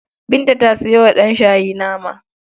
Binta ta sayo wa ɗanshayi nama.